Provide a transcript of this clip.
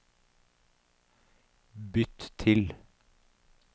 bytt til